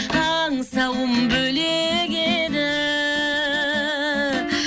аңсауым бөлек еді